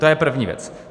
To je první věc.